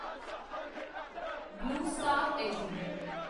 blue Star LTD